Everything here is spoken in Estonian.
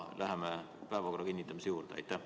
Läheme päevakorra kinnitamise juurde!